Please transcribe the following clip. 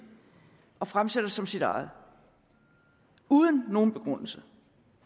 og fremsætter det som sit eget uden nogen begrundelse